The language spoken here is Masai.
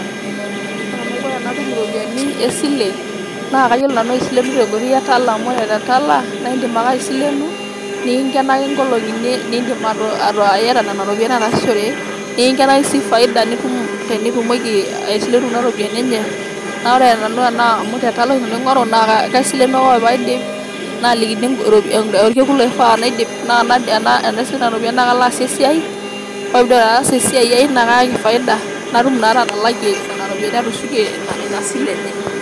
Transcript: Ore enaiko tenatup iropiyiani esile naa keyiolo Nanu aisilenu tenkoitoi etala amu ore tetala naa iidim ake aisilenu niking'enaki engolong'i niidim ake ayawa Nena ropiyiani ashu ataasishore niking'enaki sii faida nitum tinitumoki aisilenu Kuna ropiyiani enye naa ore ake amu tetala oshi Nanu aing'oru kaisilenu ake ore paaidip naalikini engo orkekun oifaa naidip naa enaisilenu Nena ropiyiani naa kaidim nalo aasie esiaiai ore paidip' ataasie esiai ai naa kayaki faida natum naa ake atakakie Nena ropiyiani ashu atushukie Ina sile enye.